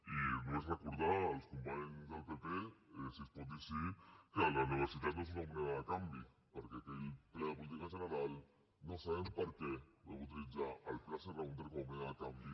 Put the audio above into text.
i només recordar als companys del pp si es pot dir així que la universitat no és una moneda de canvi perquè en aquell ple de política general no sabem per què vau utilitzar el pla serra húnter com a moneda de canvi